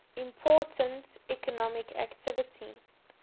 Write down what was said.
important economic activity